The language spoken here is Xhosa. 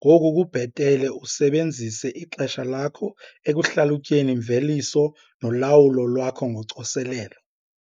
ngoku kubhetele usebenzise ixesha lakho ekuhlalutyeni imveliso nolawulo lwakho ngocoselelo.